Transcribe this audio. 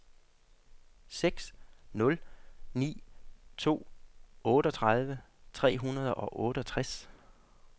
seks nul ni to otteogtredive tre hundrede og otteogtres